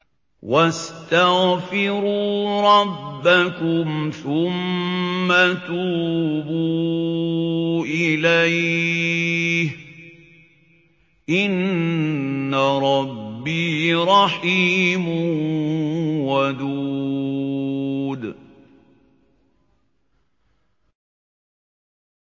وَاسْتَغْفِرُوا رَبَّكُمْ ثُمَّ تُوبُوا إِلَيْهِ ۚ إِنَّ رَبِّي رَحِيمٌ وَدُودٌ